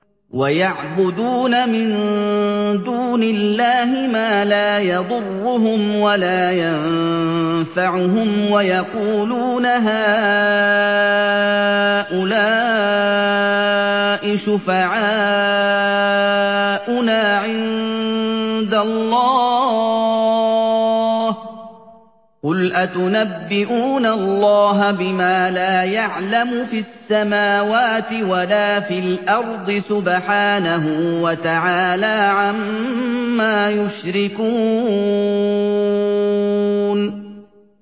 وَيَعْبُدُونَ مِن دُونِ اللَّهِ مَا لَا يَضُرُّهُمْ وَلَا يَنفَعُهُمْ وَيَقُولُونَ هَٰؤُلَاءِ شُفَعَاؤُنَا عِندَ اللَّهِ ۚ قُلْ أَتُنَبِّئُونَ اللَّهَ بِمَا لَا يَعْلَمُ فِي السَّمَاوَاتِ وَلَا فِي الْأَرْضِ ۚ سُبْحَانَهُ وَتَعَالَىٰ عَمَّا يُشْرِكُونَ